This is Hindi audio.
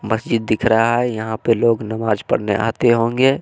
मस्जिद दिख रहा है यहां पर लोग नमाज पढ़ने आते होंगे।